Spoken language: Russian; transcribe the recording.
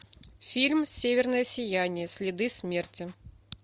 фильм северное сияние следы смерти